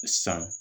San